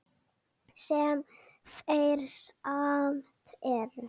Sem þeir samt eru.